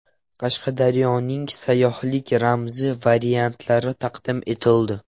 Qashqadaryoning sayyohlik ramzi variantlari taqdim etildi.